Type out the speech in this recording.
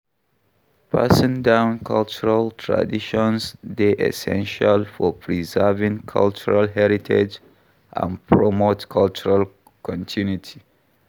Passing down cultural traditions dey essential for preserving cultural heritage and promote cultural continuity.